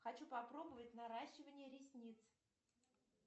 хочу попробовать наращивание ресниц